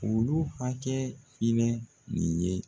Olu hakɛ hinɛ nin ye